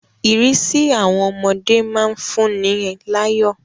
Ìrísí àwọn ọmọdé má ń fún ni láyọ̀